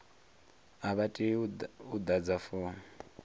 a vha tei u ḓadza fomo